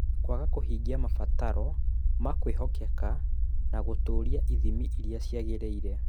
Kwaga kũhingia mabataro ma kwĩhokeka na gũtũũria ithimi iria ciagĩrĩire.